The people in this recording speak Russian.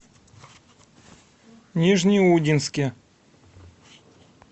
нижнеудинске